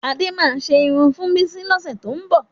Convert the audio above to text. Adé máa ṣe irun fún Bísí lọ́sẹ̀ tó ń bọ̀